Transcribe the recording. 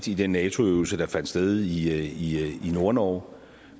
i den nato øvelse der fandt sted i nordnorge